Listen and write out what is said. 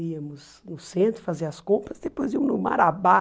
Íamos no centro fazer as compras, depois íamos no Marabá.